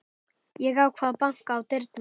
Ég ákvað að banka á dyrnar.